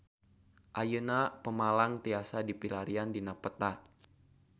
Ayeuna Pemalang tiasa dipilarian dina peta